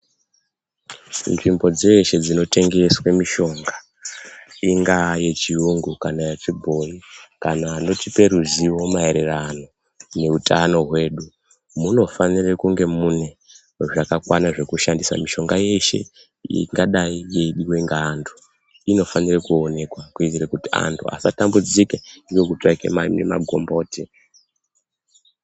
Nzvimbo dzeshe dzinotengeswe mishonga, ingaa yechiyungu kana yechibhoyi kana anotipe ruziwo maererano neutano hwedu, munofanire kunge mune zvakakwana zvokushandisa .Mishonga yeshe ingadai yeidiwe ngeantu inofanire kuonekwa, kuitire kuti antu asatambudzike ngekutsvake mami magomboti.